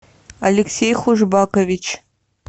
алексей хужбакович